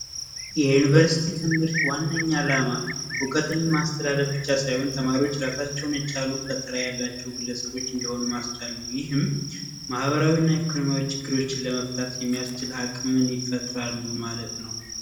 የዩኒቨርስቲ ትምህርት ዋንኛ ዓላማ ዕውቀትን ማስጨበጥ ብቻ ሳይሆን ተማሪዎች ራሳቸውን የቻላቸው ግለሰቦች እንደ ማህበራዊና ኢኮኖሚ ችግሮችን ለመፍታት የሚያስችል አቅምን ይፈጥራሉ ማለት ነው።